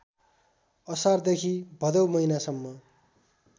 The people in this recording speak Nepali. असारदेखि भदौ महिनासम्म